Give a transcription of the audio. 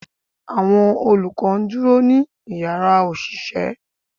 Awọn olukọ ń duro ni ìyára oṣiṣẹ